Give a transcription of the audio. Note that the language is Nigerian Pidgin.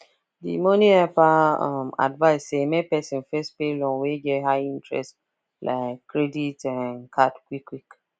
the money helper um advise say make person first pay loan wey get high interest like credit um card quick quick